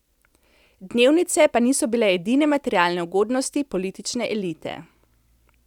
Dnevnice pa niso bile edine materialne ugodnosti politične elite.